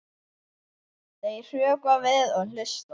Þau hrökkva við og hlusta.